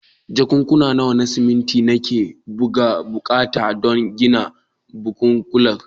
Jakunkuna nawa na siminti nake buƙata don gina bungalow.